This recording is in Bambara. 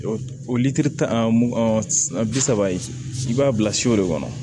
litiri tan ani san bi saba ye i b'a bila si o de kɔnɔ